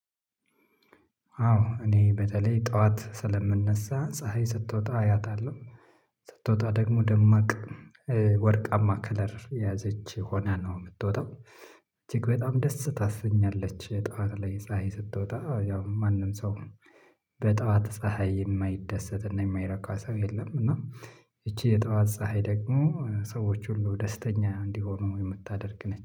አዎ እኔ በተለይ ጠዋት ስለምነሳ ፀሀይ ስትወጣ አያታለሁ ስትወጣ ደግሞ ደማቅ ወርቃማ ከለር የያዘች ሆና ነው የምትወጣው እጅግ በጣም ደስ ታስተኛለች። ጠዋት ላይ ፀሀይ ስትወጣ ያው ማንም ሰው ነው? በጠዋት ፀሀይ የማይደሰት እና የማይረካ ሰው የለም። እና ይቺ የጠዋት ፀሀይ ደግሞ ሰዎች ሁሉ ደስተኛ እንዲሆኑ የምታደርግ ነኝ